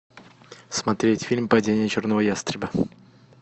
смотреть фильм падение черного ястреба